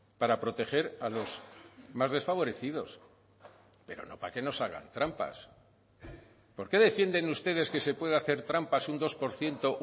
para proteger a los más desfavorecidos pero no para que nos hagan trampas por qué defienden ustedes que se puede hacer trampas un dos por ciento